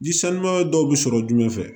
Ni sanuya dɔw bi sɔrɔ jumɛn fɛ